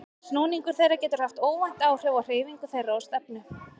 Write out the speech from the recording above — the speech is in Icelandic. Snúningur þeirra getur haft óvænt áhrif á hreyfingu þeirra og stefnu.